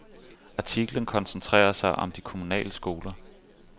Artiklen koncentrerer sig om de kommunale skoler.